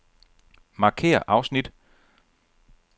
Markér afsnit.